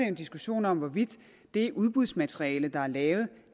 en diskussion om hvorvidt det udbudsmateriale der er lavet